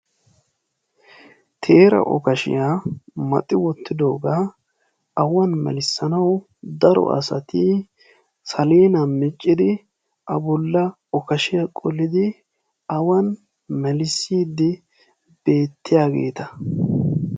teera okaashiyaa maaxi wootidooga awan melissanawu daro asati saleenaa miccidi a bolla okaashshiyaa qollidi awan mellissidi beettiyaageta.